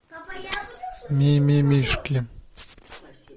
мимимишки